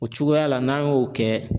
O cogoya la n'an y'o kɛ